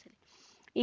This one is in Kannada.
ಸರಿ